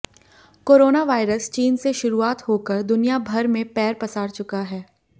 corona virus चीन से शुरुआत होकर दुनिया भर में पैर पसार चुका है